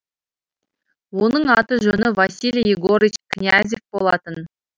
оның аты жөні василий егорыч князев болатын